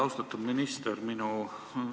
Austatud minister!